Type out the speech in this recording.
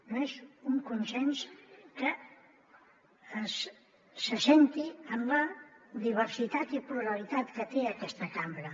no és un consens que s’assenti en la diversitat i pluralitat que té aquesta cambra